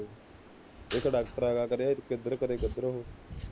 ਇੱਕ ਡਾਕਟਰ ਹੈਗਾ, ਕਦੇ ਕਿਧਰ, ਕਦੇ ਕਿੱਧਰ ਉਹ